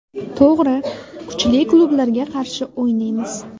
To‘g‘ri, kuchli klublarga qarshi o‘ynaymiz.